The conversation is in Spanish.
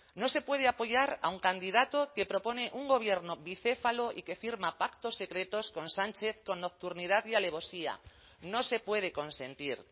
no se puede apoyar a un candidato que propone un gobierno bicéfalo y que firma pactos secretos con sánchez con nocturnidad y alevosía no se puede consentir